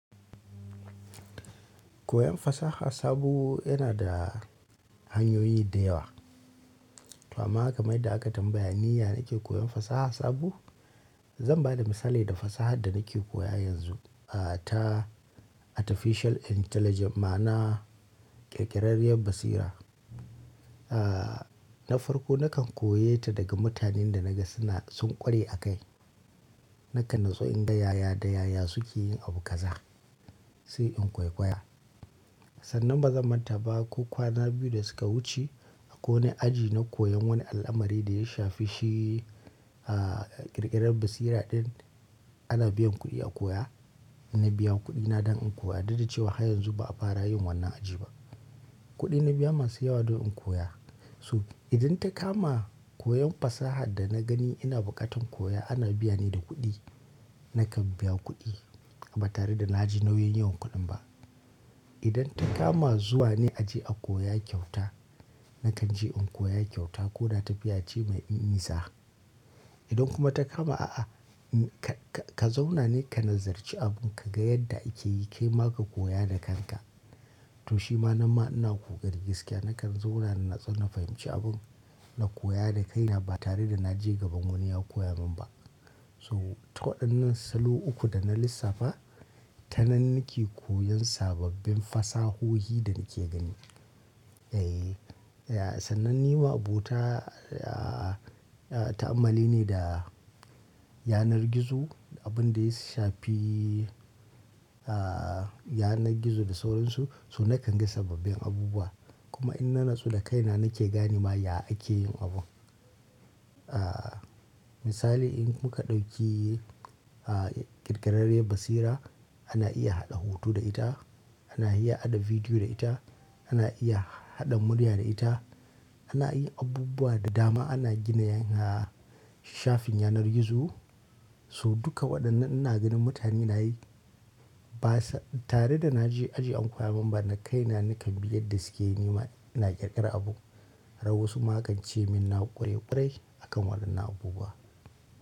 Koyan fasaha sabo yana da hanyoyi da yawa. To amma kamar yadda aka tambaya ni ya nake koyan fasaha sabo. Zan ba da misali da fasahar da nake koya yanzu, aah ta Artificial Intelligence ma'ana ƙirƙirarriyar basira. Aah na farko nakan koya ta daga mutanen da naga suna sun ƙware a kai. Nakan natsu in ga yaya da yaya suke yin abu kaza sai in koikoya. Sannan ba zan manta ba ko kwana biyu da suka wuce akwai wani aji na koyan wani al'amari da ya shafi shi aah ƙirƙirar basira ɗin ana biyan kuɗi a koya. Na biya kuɗina don in koya duk da cewa har yanzu ba a fara yin wannan aji ba. Kuɗi na biya masu yawa don in koya. So idan ta kama koyan fasahar da na gani ina buƙatan koya ana biya ne da kuɗi, nakan biya kuɗi ba tare da na ji nauyin yi wan kuɗin ba. Idan ta kama zuwa ne aji a koya kyauta, nakan je in koya kyauta ko da tafiya ce mai nisa. Idan kuma ta kama a'a ka, ka, ka zauna ne ka nazarci abun ka ga yadda ake yi kai ma ka koya da kanka. To shi ma nan ma ina ƙoƙari gaskiya nakan zauna na natsu na fahimci abun na koya da kaina ba tare da na je gaban wani ya koya min ba. So ta waɗannan salo uku da na lissafa, ta nan nake koyan sababbin fasahohi da nake gani. Eh, sannan ni ma abota aah ta'ammali ne da yanar gizo, abin da ya shafi aah yanar gizo da sauransu. So nakan ga sababbin abubuwa kuma in na natsu da kaina nake gani ma ya ake yin abun. Aah misali in kuka ɗauki aah ƙirƙirarriyar basira ana iya haɗa hoto da ita, ana iya haɗa bidiyo da ita, ana iya haɗa murya da ita. Ana yin abubuwa da dama ana gina yan ha shafin yanar gizo. So duka waɗannan ina ganin mutane na yi ba sa tare da na je aji an koya min ba, na kaina nakan bi yadda suke yi nima ina ƙirƙirar abu. Rau wasu ma kan ce min na ƙware ƙware a kan wannan abubuwa.